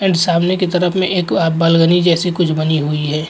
And सामने की तरफ में एक बालगनी जैसी कुछ बनी हुई है।